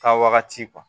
Taa wagati